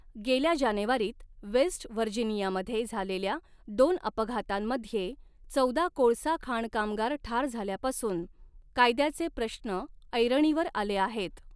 गेल्या जानेवारीत वेस्ट व्हर्जिनियामध्ये झालेल्या दोन अपघातांमध्ये चौदा कोळसा खाण कामगार ठार झाल्यापासून, कायद्याचे प्रश्न ऐरणीवर आले आहेत.